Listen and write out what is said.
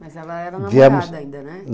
Mas ela era namorada ainda, né?